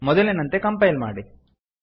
ಮೊದಲಿನಂತೆ ಕಂಪೈಲ್ ಮಾಡಿ